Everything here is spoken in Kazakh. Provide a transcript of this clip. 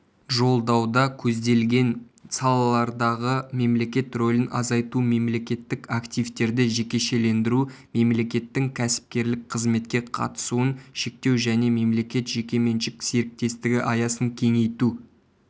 жолдауда көзделген салалардағы мемлекет рөлін азайту мемлекеттік активтерді жекешелендіру мемлекеттің кәсіпкерлік қызметке қатысуын шектеу және мемлекет-жекеменшік серіктестігі аясын кеңейту